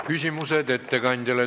Küsimused ettekandjale.